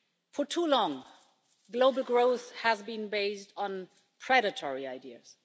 For too long, global growth has been based on predatory ideas.